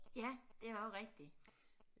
Ja det er også rigtigt